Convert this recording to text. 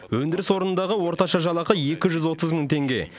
өндіріс орнындағы орташа жалақы екі жүз отыз мың теңге